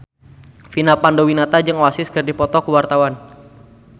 Vina Panduwinata jeung Oasis keur dipoto ku wartawan